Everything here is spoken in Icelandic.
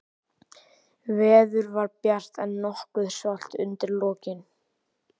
Veður var bjart, en nokkuð svalt undir lokin.